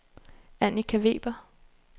Annika Weber